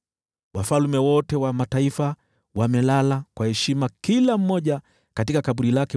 Wafalme wote wa mataifa wamelala kwa heshima kila mmoja katika kaburi lake.